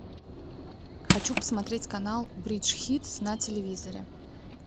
хочу посмотреть канал бридж хитс на телевизоре